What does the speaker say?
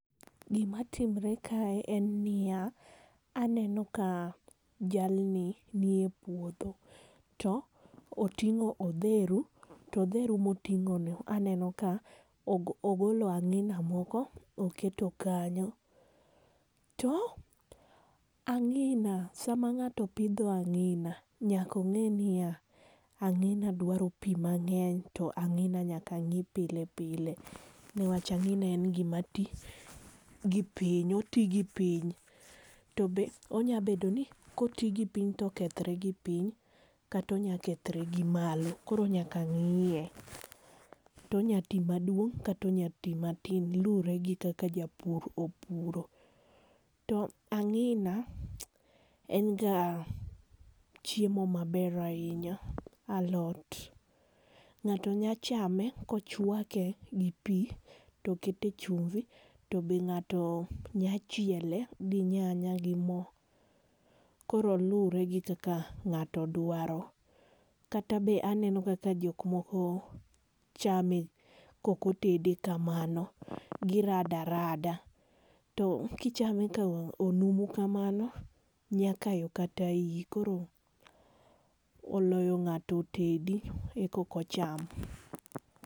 Gima timore kae en niya, aneno ka jalni nie puodho to oting'o odheru to odheru moting'ono, aneno ka ogolo ang'ina moko oketo kanyo. To ang'ina sama ng'ato pidho ang'ina nyaka ong'e niya, ang'ina dwaro pi mang'eny to ang'ina nyaka ng'i pile pile newach ang'ina en gima ti gi piny, oti gi piny to be nyalo bedo ni koti gipiny to onyalo kethore gi piny kata onyalo kethore gi malo koro nyaka ng'iye. To onyalo ti maduong' kata onyalo ti maduong' luwore gi kaka japur opuro. To ang'ina en ga chiemo maber ahinya, alot. Ng'ato nyalo chame kokete kochwake gi pi to okete chumbi, to be ng'ato nyalo chiele gi nyanya gi mo. Koro luwore gi kaka ng'ato dwaro, kata be aneno kaka jok moko chame kaok otede kamano, girado arada to kichame konumu kamano, nyalo kayo kata iyi. Koro oloyo ng'ato otedi koro eka ocham.